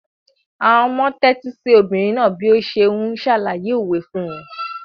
Àwọn ọmọ tẹ́tí sí obìnrin náà bí ó ṣe ń ṣàlàyé òwe fún wọn.